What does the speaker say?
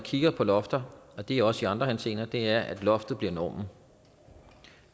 kigger på lofter og det er også i andre henseender er at loftet bliver normen og